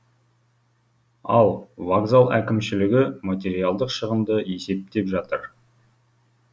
ал вокзал әкімшілігі материалдық шығынды есептеп жатыр